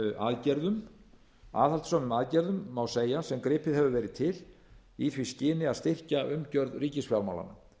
aðgerðum aðhaldssömum aðgerðum má segja sem gripið hefur verið til í því skyni að styrkja umgjörð ríkisfjármálanna